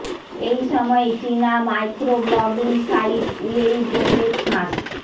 এই সময়ে চিনা মাইক্রো ব্লগিং সাইট উয়েইবো তে ফাঁস